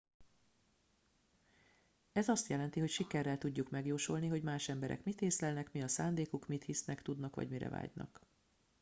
ez azt jelenti hogy sikerrel tudjuk megjósolni hogy más emberek mit észlelnek mi a szándékuk mit hisznek tudnak vagy mire vágynak